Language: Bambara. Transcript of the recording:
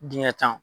Dingɛ tan